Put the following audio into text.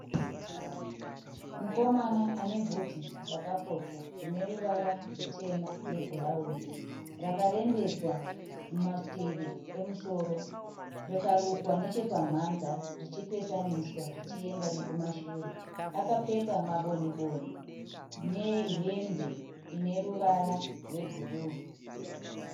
Mukomana ane bvudzi rakapotwa rine ruvara rwutema nebhurauni. Rakarembedzwa kumativi emusoro rikarukwa nechepamhanza richipesaniswa richienda nekumashure. Akapfeka mabondi-boni nehembe ine ruvara rwebhuruu.